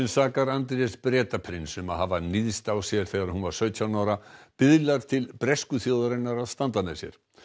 sakar Andrés Bretaprins um að hafa níðst á sér þegar hún var sautján ára biðlar til bresku þjóðarinnar að standa með sér